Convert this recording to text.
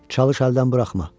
Çalış əldən buraxma.